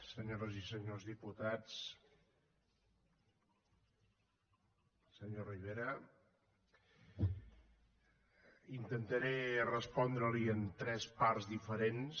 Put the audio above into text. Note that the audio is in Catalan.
senyores i senyors diputats senyor rivera intentaré respondreli en tres parts diferents